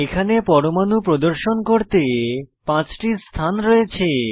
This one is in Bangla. এখানে পরমাণু প্রদর্শন করতে 5 টি স্থান রয়েছে